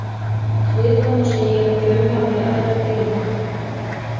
Svipað má segja um fjölmargar aðrar tegundir.